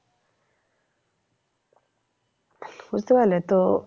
বুঝতে পারলে তো